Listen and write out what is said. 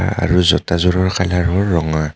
আৰু জোতাযোৰৰ কালাৰ হ'ল ৰঙা.